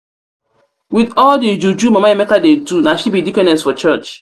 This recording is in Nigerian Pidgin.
with all the juju mama emeka dey do na she be deaconess for church